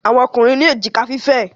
Àwọn Ọkùnrin ní èjìká fífẹ̀.